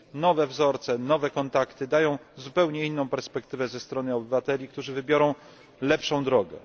Nowe wzorce, nowe kontakty dają zupełnie inną perspektywę ze strony obywateli, którzy wybiorą lepszą drogę.